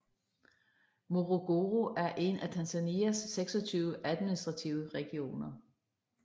Morogoro er en af Tanzanias 26 administrative regioner